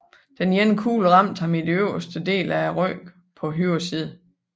Den ene kugle ramte ham i den øverste del af ryggen på højre side